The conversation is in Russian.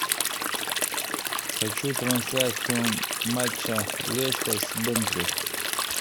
хочу трансляцию матча лестер с бернли